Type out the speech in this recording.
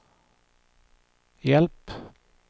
hjälp